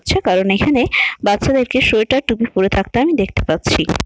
হচ্ছে কারণ এখানে বাচ্চাদেরকে সোয়েটার টুপি পরে থাকতে আমি দেখতে পাচ্ছি।